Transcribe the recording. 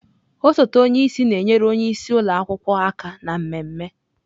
Osote onye isi na-enyere onye isi ụlọ akwụkwọ aka na mmemme.